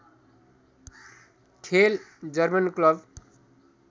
खेल German club